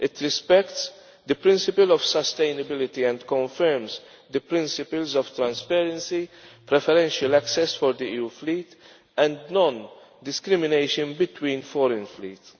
It respects the principle of sustainability and confirms the principles of transparency, preferential access for the EU fleet and non-discrimination between foreign fleets.